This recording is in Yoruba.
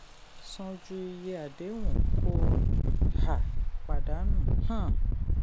san ju iye àdéhùn ko um pàdádànù. um